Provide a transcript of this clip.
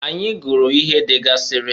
Anyị guru ihe degasịrị.